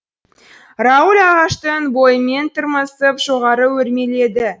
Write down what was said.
рауль ағаштың бойымен тырмысып жоғары өрмеледі